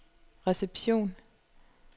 reception